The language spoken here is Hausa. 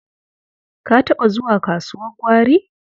Ka taɓa zuwa kasuwar gwari?